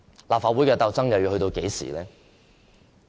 立法會的鬥爭又要到何時呢？